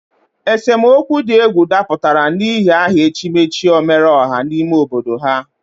Esemokwu di egwu daputara n'ihi aha echimechi omereoha n'ime obodo ha.